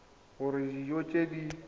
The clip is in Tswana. go reka dijo tse di